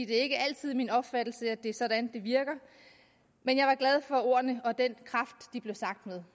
det ikke altid er min opfattelse at det er sådan det virker men jeg var glad for ordene og den kraft de blev sagt med